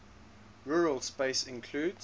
rural space includes